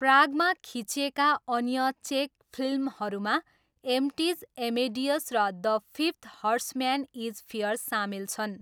प्रागमा खिचिएका अन्य चेक फिल्महरूमा एम्प्टिज, एमेडियस र the fifth horseman is fear सामेल छन्।